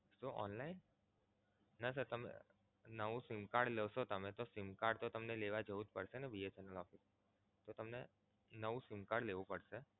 online? ના sir તમે નવું sim card લો છો તમે તો sim card તો તમને લેવા જવું જ પડશે ને BSNL office મા. તો તમે નવું sim card લેવું પડશે.